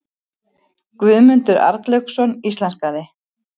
Guðmundur Arnlaugsson íslenskaði.